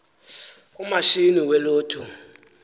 umashini we lotto